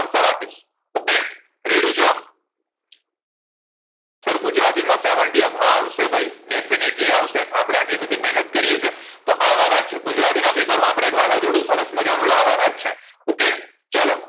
answer આપીશ okay ready છો sir ગુજરાતીમાં સીતેર up હા આવશે ભઈ definitely આવશે આપણે આટલી બધી મેહનત કરીયે છે તો આવવાના જ છે ગુજરાતીના paper માં આપડે એક વાવાજોડું સરસ માજા નું લાવવાંના જ છે okay ચલો